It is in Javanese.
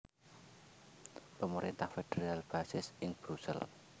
Pemerintah federal basis ing Brusel